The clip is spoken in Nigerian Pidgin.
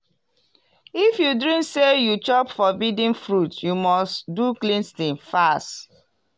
if you dream say you chop forbidden fruit you must do cleansing fast.